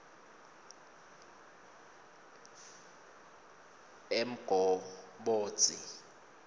emgobodzi